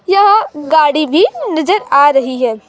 यह गाड़ी भी नजर आ रही है।